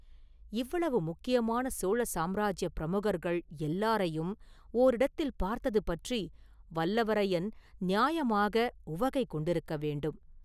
இவ்வளவு முக்கியமான சோழ சாம்ராஜ்யப் பிரமுகர்கள் எல்லாரையும் ஓரிடத்தில் பார்த்தது பற்றி வல்லவரையன் நியாயமாக உவகை கொண்டிருக்க வேண்டும்.